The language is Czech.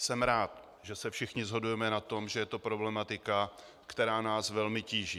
Jsem rád, že se všichni shodujeme na tom, že je to problematika, která nás velmi tíží.